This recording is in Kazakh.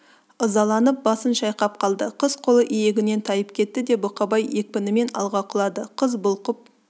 ызаланып басын шайқап қалды қыз қолы иегінен тайып кетті де бұқабай екпінімен алға құлады қыз бұлқып